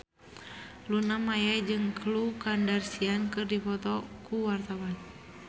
Luna Maya jeung Khloe Kardashian keur dipoto ku wartawan